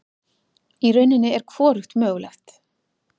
Í rauninni er hvorugt mögulegt.